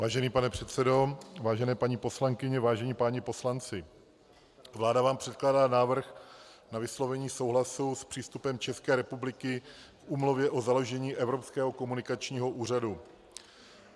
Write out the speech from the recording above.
Vážený pane předsedo, vážené paní poslankyně, vážení páni poslanci, vláda vám předkládá návrh na vyslovení souhlasu s přístupem České republiky k Úmluvě o založení Evropského komunikačního úřadu.